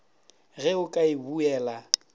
ge o ka e buela